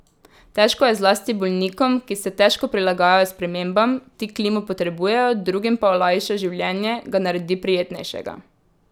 Težko je zlasti bolnikom, ki se težko prilagajajo spremembam, ti klimo potrebujejo, drugim pa olajša življenje, ga naredi prijetnejšega.